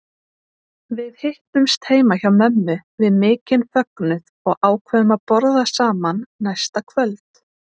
Við hittumst heima hjá mömmu við mikinn fögnuð og ákváðum að borða saman næsta kvöld.